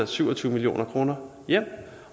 syv og tyve million kroner ind